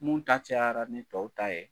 Mun ta cayara ni tɔw ta ye